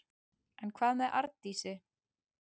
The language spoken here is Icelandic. En hvað með Arndísi?